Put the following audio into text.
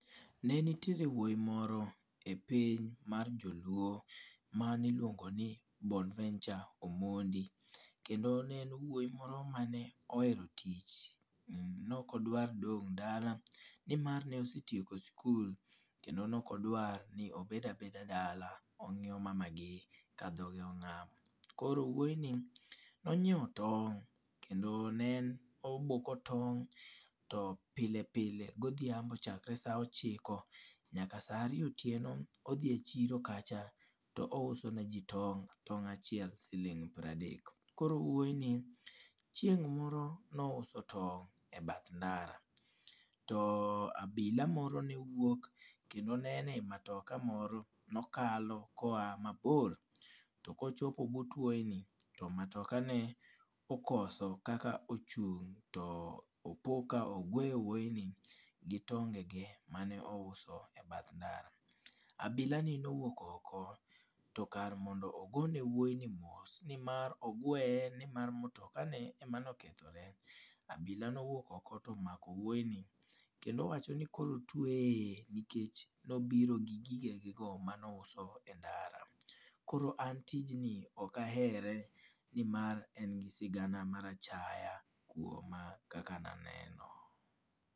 Ne nitiere wuoyi moro e piny mar joluo mane iluongo ni Bonventure Omondi. Kendo ne en wuoyi moro mane ohero tich. Ne ok odwar dong' dala, ni mar ne osetieko sikul, kendo ne ok odwar ni obed a beda dala, ongíyo mamagi ka dhoge ongám. Koro wuoyi ni ne onyiewo tong', kendo ne en oboko tong' to pile pile godhiambo chakre sa ochiko nyaka sa ariyo otieno, odhi e chiro kacha to ouso ne ji tong'. Tong' achiel siling piero adek. Koro wuoyi ni, chieng' moro ne ouso tong' e bath ndara. To abila moro ne wuok, kendo ne en e matoka moro, ne okalo ka oa mabor. To ka ochopo but wuoyi ni, to matoka ne okoso kaka ochung' to opo ka ogweyo wuoyi ni, gi tonge ge mane ouso e bath ndara. Abile ni owuok oko, to kar mondo ogo ne wuoyi ni mos, ni mar ogweye, ni mar matoka ne ema ne okethore. Abila ne owuok oko to omako wuoyi ni. Kendo owacho no koro otweye e iye, nikech nobiro gi gige ge go mane ouso e ndara. Koro an tijni ok ahere ni mar en gi sigana mar achaya kuoma kaka ne aneno.